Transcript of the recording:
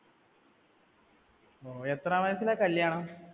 എത്രാം വയസിലാ കല്യാണം?